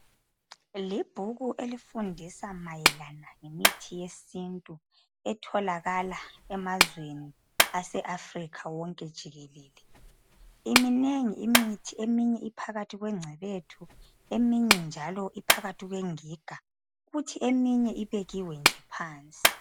Libhuku elifundisa mayelana ngemithi yesintu etholakala emazweni aseAfrica wonke jikelele iminengi imithi eminye iphakathi kwengcebethu eminye njalo iphakathi kwengiga kuthi eminye ibekiwe nje phansi.